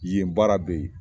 Yen baara bɛ yen